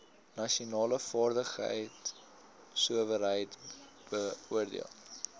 nasionale vaardigheidsowerheid beoordeel